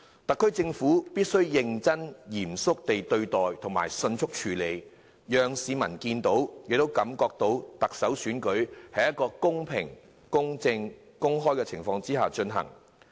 特區政府必須認真嚴肅地對待，迅速處理，讓市民看到亦感受到特首選舉是在公平、公正、公開的情況下進行。